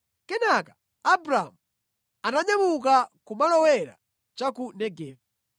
Kenaka Abramu ananyamuka kumalowera cha ku Negevi.